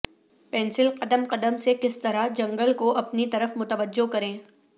pencil قدم قدم سے کس طرح جنگل کو اپنی طرف متوجہ کریں